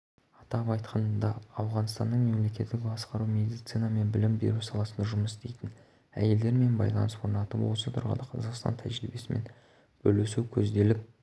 атап айтқанда ауғанстанның мемлекеттік басқару медицина мен білім беру саласында жұмыс істейтін әйелдермен байланыс орнатып осы тұрғыда қазақстан тәжірибесімен бөлісу көзделіп